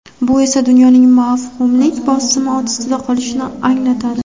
Bu esa dunyoning mavhumlik bosimi ostida qolishini anglatadi.